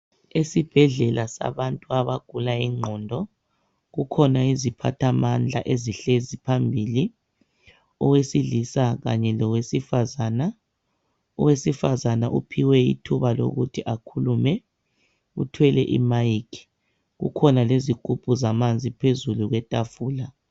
Esibhedlela sabantu abagula ingqondo kukhona iziphathamandla ezihlezi phambili, owesilisa kanye lowesifazana. Owesifazana uphiwe ithuba lokuthi akhulume uthwele imayikhi, kukhona lezigubhu zamanzi phezulu kwetafula.